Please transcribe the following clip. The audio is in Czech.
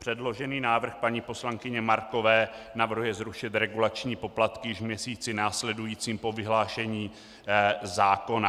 Předložený návrh paní poslankyně Markové navrhuje zrušit regulační poplatky již v měsíci následujícím po vyhlášení zákona.